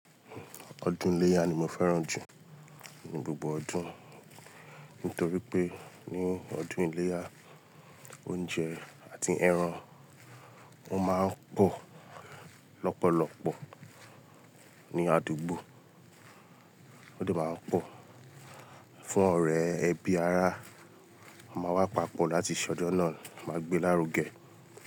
Ọdún iléyá ni mo fẹ́ràn jù ní gbogbo ọdún. Nítorí pé ní ọdún iléyá, oúnjẹ àti ẹran wọ́n máa ń pọ̀ lọ́pọ̀lọ́pọ̀ ní àdúgbò. Ó de máa ń pọ̀ fún ọ̀rẹ́ ẹbí ará, a máa wá papọ̀ láti ṣọdun náà, máa gbé lárugẹ.